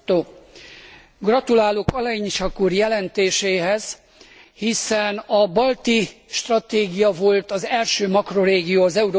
Gratulálok Olejniczak úr jelentéséhez, hiszen a balti stratégia volt az első makrorégió az Európai Unióban.